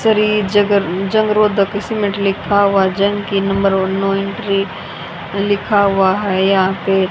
श्री जगर जंग रोधक सीमेंट लिखा हुआ जन की नंबर और नो एंट्री लिखा हुआ है यहां पे।